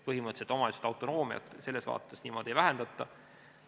Põhimõtteliselt omavalitsuste autonoomiat selles vaates niimoodi ei vähendata.